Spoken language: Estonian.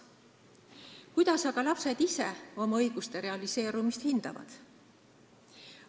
Kuidas aga lapsed ise oma õiguste realiseerumist hindavad?